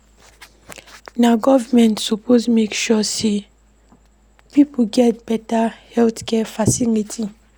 Na government suppose make sure sey pipo get beta healthcare facility.